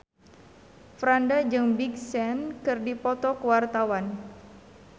Franda jeung Big Sean keur dipoto ku wartawan